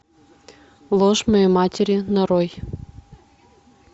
ложь моей матери нарой